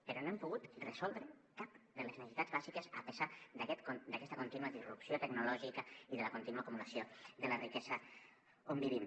però no hem pogut resoldre cap de les necessitats bàsiques a pesar d’aquesta contínua disrupció tecnològica i de la contínua acumulació de la riquesa on vivim